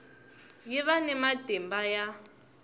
yi va ni matimba ya